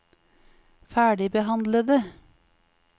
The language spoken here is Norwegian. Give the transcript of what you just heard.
ferdigbehandlede